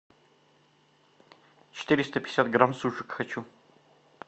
четыреста пятьдесят грамм сушек хочу